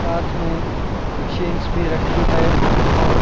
साथ में मशीनस भी रखी है और --